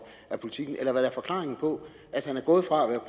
af politiken eller hvad der er forklaringen på at han er gået fra